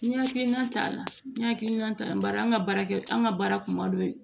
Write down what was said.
N ye hakilina ta la n y'a hakilina ta bari an ka baara kɛ an ka baara kuma dɔ ye